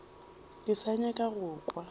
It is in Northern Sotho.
ke sa nyaka go kwa